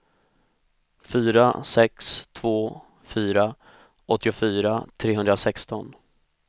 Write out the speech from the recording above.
fyra sex två fyra åttiofyra trehundrasexton